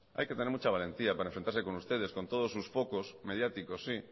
hay que tener mucha valentía para enfrentarse con ustedes con todos sus focos mediáticos sí